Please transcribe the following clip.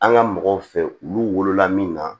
An ka mɔgɔw fɛ olu wolola min na